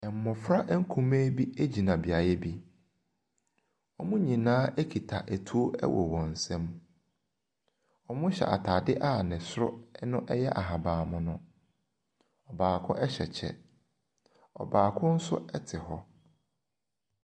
Mmɔfra nkumaa bi egyina beaeɛ bi. Wɔn nyinaa kura etuo wɔ wɔn nsam. Wɔhyɛ ataade a ne soro ɛyɛ ahaban mono. Baako ɛhyɛ kyɛ. Ɔbaako nso ɛte hɔ.